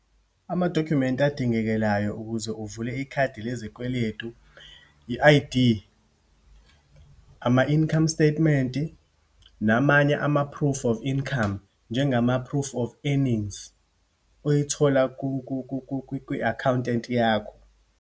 Amadokhumenti adingekelayo ukuze uvule ikhadi lesikweletu, i-I_D, ama-income statement-i, namanye ama-proof of income, njengama-proof of earnings, oyithola kwi-accountant yakho.